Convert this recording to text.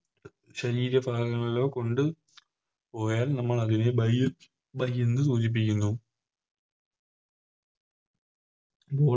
ശരീര ഭാഗങ്ങളിലോ കൊണ്ട് പോയാൽ നമ്മളതിനെ Bye bye ന്ന് സൂചിപ്പിക്കുന്നു